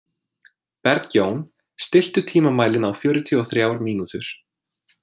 Bergjón, stilltu tímamælinn á fjörutíu og þrjár mínútur.